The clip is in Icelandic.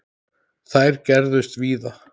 Þær gerðust víða.